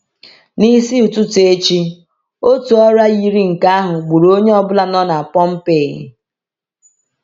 N’isi ụtụtụ echi, otu ọrịa yiri nke ahụ gburu onye ọ bụla nọ n’Pompeii.